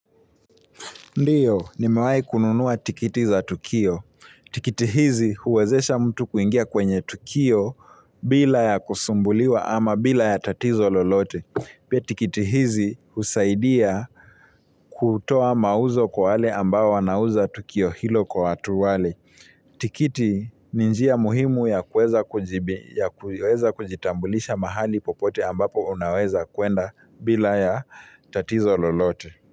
Ndiyo nimewai kununua tiketi za tukio. Tiketi hizi huwezesha mtu kuingia kwenye tukio bila ya kusumbuliwa ama bila ya tatizo lolote. Pia tiketi hizi husaidia kutoa mauzo kwa wale ambao wanauza tukio hilo kwa watu wale. Tiketi ni njia muhimu ya kuweza kujitambulisha mahali popote ambapo unaweza kwenda bila ya tatizo lolote.